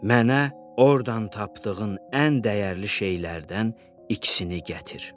Mənə ordan tapdığın ən dəyərli şeylərdən ikisini gətir."